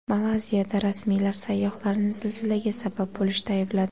Malayziyada rasmiylar sayyohlarni zilzilaga sabab bo‘lishda aybladi.